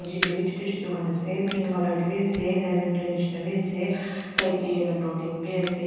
niche te bhi chotu chotu khan ase pink colour te bhi ase.